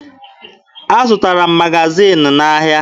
Azụtara m magaziini n'ahịa.